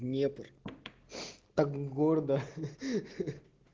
днепр так гордо ха-ха-ха